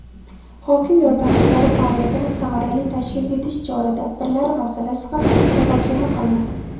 hokim yordamchilari faoliyatini samarali tashkil etish chora-tadbirlari masalasi ham muhokama qilinadi.